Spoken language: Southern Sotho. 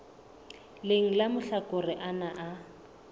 leng la mahlakore ana a